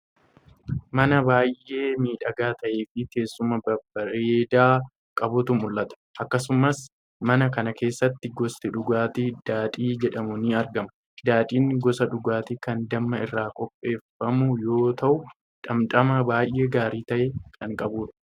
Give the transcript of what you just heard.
Mana baay'ee miidhagaa ta'ee fi teessuma babbareedaa qabutu mul'ata. Akkasumas mana kana keessatti gosti dhugaatii 'daadhii' jedhamu ni argama. Daadhiin gosa dhugaatii kan damma irraa qopheeffamu yoo ta’u dhamdhama baay'ee gaarii ta'e kan qabudha.